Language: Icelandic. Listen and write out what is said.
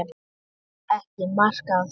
Tók ekki mark á því.